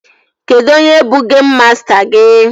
Kedụ onye bụ geim masta gị?